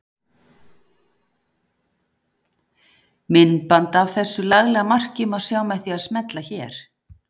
Myndband af þessu laglega marki má sjá með því að smella hér.